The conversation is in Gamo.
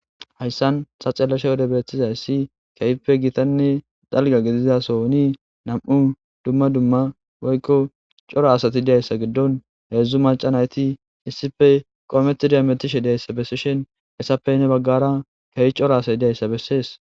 Hayssan sacelashe wode beettizayssi keeyppe gitanne dalga gidizasoni nam'u dumma dumma woykko coro asati idayssa giddon heedzdzu maca nayti issife qoometidiametishe deyssa bessishen essappey ne baggara keeyi coro asati dayssa bessees.